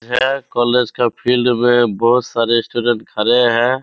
है कॉलेज का फील्ड में बहुत सारे स्टूडेंट खड़े हैं।